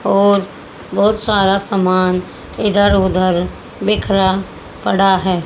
और बहोत सारा सामान इधर उधर बिखरा पड़ा है।